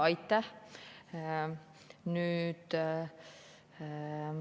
Aitäh!